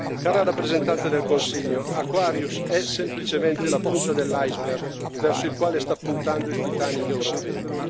Cara rappresentante del Consiglio, Aquarius è semplicemente la punta dell'iceberg verso il quale sta puntando il Titanic europeo.